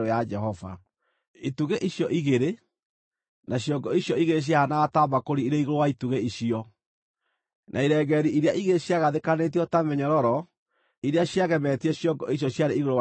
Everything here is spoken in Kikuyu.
itugĩ icio igĩrĩ; na ciongo icio igĩrĩ ciahaanaga ta mbakũri irĩ igũrũ wa itugĩ icio; na irengeeri iria igĩrĩ ciagathĩkanĩtio ta mĩnyororo iria ciagemetie ciongo icio ciarĩ igũrũ wa itugĩ;